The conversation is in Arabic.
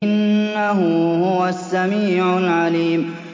إِنَّهُ هُوَ السَّمِيعُ الْعَلِيمُ